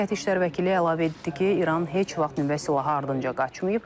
Müvəqqəti işlər vəkili əlavə etdi ki, İran heç vaxt nüvə silahı ardınca qaçmayıb.